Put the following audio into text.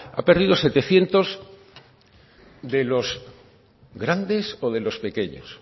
ha perdido setecientos de los grandes o de los pequeños